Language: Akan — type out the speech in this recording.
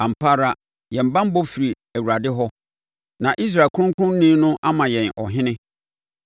Ampa ara, yɛn banbɔ firi Awurade hɔ, na Israel Kronkronni no ama yɛn Ɔhene.